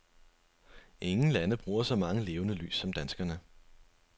Ingen lande bruger så mange levende lys som danskerne.